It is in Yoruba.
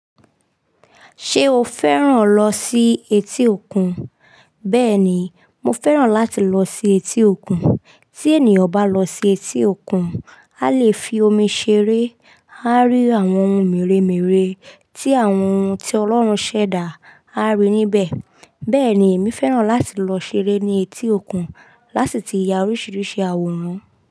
Ṣé o fẹ́ràn lọ sí etí òkun? Bẹ́ẹ̀ni, mo fẹ́ràn láti lọ sí etí òkun. Tí ènìyàn bá lọ sí etí òkun, a lè fi omi ṣeré, a rí àwọn ohun mèremère tí àwọn ohun tí Ọlọ́run ṣẹ̀dá, a rí níbẹ̀. Bẹ́ẹ̀ni èmi fẹ́ràn láti lọ ṣeré ní etí òkun lási ti ya oríṣiríṣi àwòrán.